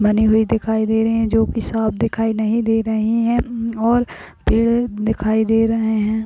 बनी हुई दिखाई दे रहे हैं जो की साफ दिखाई नही दे रहे हैं मम और पेड़ दिखाई दे रहे हैं।